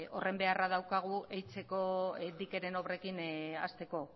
horren beharra daukagu dikeren obrekin hasteko